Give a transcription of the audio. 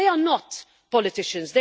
They are not politicians.